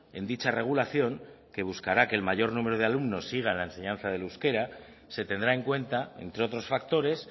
en dicha regulación que buscará que el mayor número de alumnos siga la enseñanza del euskera se tendrá en cuenta entre otros factores